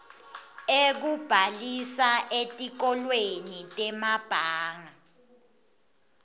ekubhalisa etikolweni temabanga